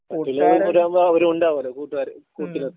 ആവമ്പൊ അവരും ഉണ്ടാവോലോ കൂട്ടുകാര് കൂട്ടിന്